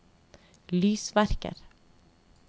lysverker